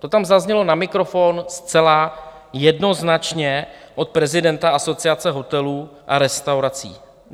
To tam zaznělo na mikrofon zcela jednoznačně od prezidenta Asociace hotelů a restaurací.